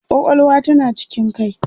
kwakwalwa tana cikin kai